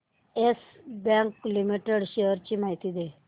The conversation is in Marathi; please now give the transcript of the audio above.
येस बँक लिमिटेड शेअर्स ची माहिती दे